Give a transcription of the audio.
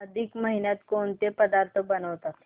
अधिक महिन्यात कोणते पदार्थ बनवतात